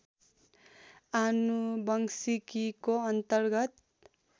आनुवंशिकीको अन्तर्गत